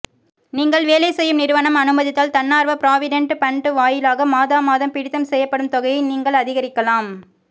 நீங்கள் வேலைசெய்யும் நிறுவனம் அனுமதித்தால் தன்னார்வ பிராவிடென்ட் பண்ட் வாயிலாக மாதமாதம் பிடித்தம் செய்யப்படும் தொகையை நீங்கள் அதிகரிக்கலாம்